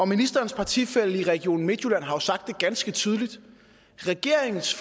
ministerens partifælle i region midtjylland har jo sagt ganske tydeligt at regeringens